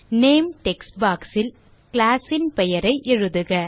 name text box ல் class ன் பெயரை எழுதுக